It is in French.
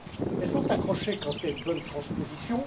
Elles sont accrochées quand il y a une bonne transposition.